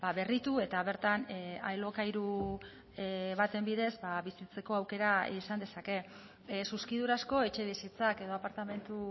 berritu eta bertan alokairu baten bidez bizitzeko aukera izan dezake zuzkidurazko etxebizitzak edo apartamentu